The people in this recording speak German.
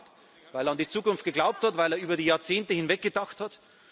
Er hat es gemacht, weil er an die Zukunft geglaubt hat, weil er über die Jahrzehnte hinweg gedacht